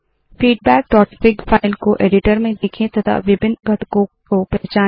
feedbackफिग file को editor में देखे तथा विभिन्न घटकों को पहचाने